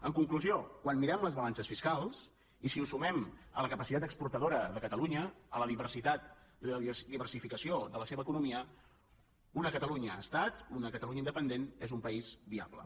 en conclusió quan mirem les balances fiscals i si ho sumem a la capacitat exportadora de catalunya a la diversitat i la diversificació de la seva economia una catalunya estat una catalunya independent és un país viable